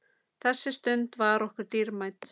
Þessi stund var okkur dýrmæt.